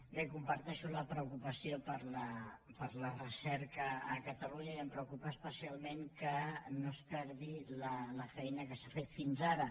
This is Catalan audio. bé comparteixo la preocupació per la recerca a catalunya i em preocupa especialment que no es perdi la feina que s’ha fet fins ara